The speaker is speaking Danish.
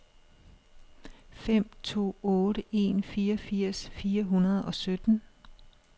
fem to otte en fireogfirs fire hundrede og sytten